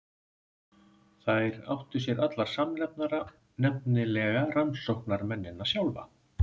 Þær áttu sér allar samnefnara, nefnilega rannsóknarmennina sjálfa.